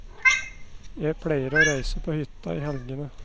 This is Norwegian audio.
Jeg pleier å reise på hytta i helgene.